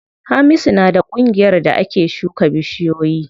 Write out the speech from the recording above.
Hamisu na da ƙungiyar da ake shuka bishiyoyi.